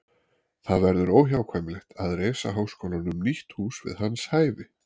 Það verður óhjákvæmilegt að reisa háskólanum nýtt hús við hans hæfi.